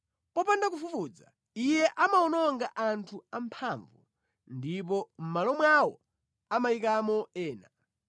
Popanda kufufuza, Iye amawononga anthu amphamvu ndipo mʼmalo mwawo amayikamo ena.